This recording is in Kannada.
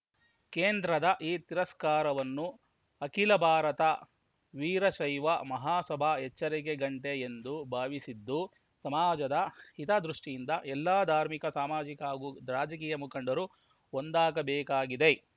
ಕೇಂದ್ರದ ಈ ತಿರಸ್ಕಾರವನ್ನು ಅಖಿಲ ಭಾರತ ವೀರಶೈವ ಮಹಾಸಭಾ ಎಚ್ಚರಿಕೆ ಗಂಟೆ ಎಂದು ಭಾವಿಸಿದ್ದು ಸಮಾಜದ ಹಿತದೃಷ್ಟಿಯಿಂದ ಎಲ್ಲ ಧಾರ್ಮಿಕ ಸಾಮಾಜಿಕ ಹಾಗೂ ರಾಜಕೀಯ ಮುಖಂಡರು ಒಂದಾಗಬೇಕಾಗಿದೆ